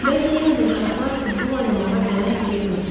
Bəlkə yenə də uşaqlar futbol oynamağa gələr deyə gözləyirəm.